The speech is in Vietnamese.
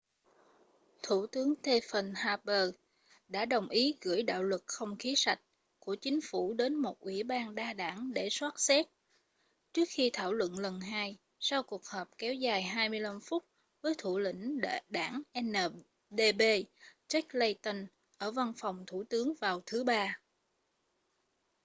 thủ tướng stephen harper đã đồng ý gửi đạo luật không khí sạch' của chính phủ đến một ủy ban đa đảng để soát xét trước khi thảo luận lần hai sau cuộc họp kéo dài 25 phút với thủ lĩnh đảng ndp jack layton ở văn phòng thủ tướng vào thứ ba